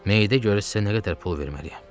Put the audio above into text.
Meyidə görə sizə nə qədər pul verməliyəm?